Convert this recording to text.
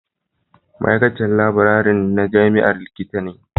Ma'aikacin laburare na jami'a Likita ne